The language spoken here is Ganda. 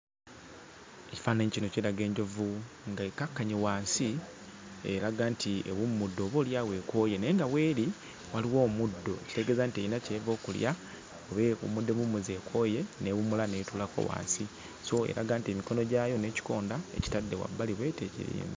Ekifaananyi kino kiraga enjovu ng'ekkakkanye wansi eraga nti ewummudde, oboolyawo ekooye. Naye nga w'eri waliwo omuddo, ekitegeeza nti erina ky'eva okulya oba ewummudde buwummuzi ekooye, n'ewummula n'etuulako wansi. So eraga nti emikono gyayo n'ekikonda ekitadde ku bbali bw'eti...